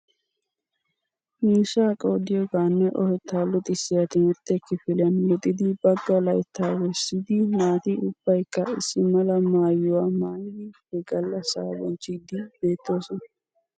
Miishsha qoodiyooganne oheta lixissiya timirtte kifiliyan luxxidi bagga laytta wurssidi naati ubbaykka issi mala maayyuwaa maayyidi he gallassa bonchchidi beettoosona.